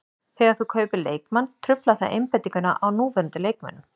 Þegar þú kaupir leikmann truflar það einbeitinguna á núverandi leikmönnum.